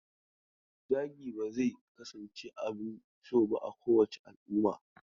Zagi ba zai kasance abin so ba a kowace al'umma.